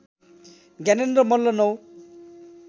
Gyanendra Malla ९